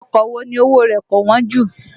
Ọkọ̀ wo ni owó o rẹ̀ kò wọ́n jù?